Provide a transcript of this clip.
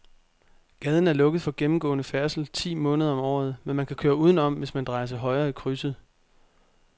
Gaden er lukket for gennemgående færdsel ti måneder om året, men man kan køre udenom, hvis man drejer til højre i krydset.